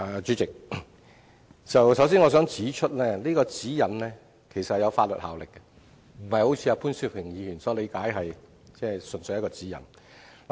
主席，我首先想指出，《指引》其實是有法律效力的，並非如潘兆平議員所理解，純粹是一個指引。